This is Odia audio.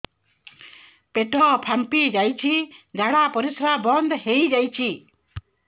ପେଟ ଫାମ୍ପି ଯାଇଛି ଝାଡ଼ା ପରିସ୍ରା ବନ୍ଦ ହେଇଯାଇଛି